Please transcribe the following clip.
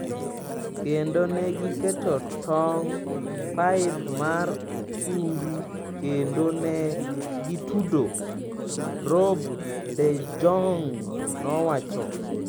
Kendo ne giketo tong' paip mar chumbi kendo ne gitudo," Rob de Jong nowacho.